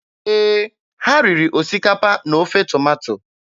Ee, ha riri osikapa na ofe tomato.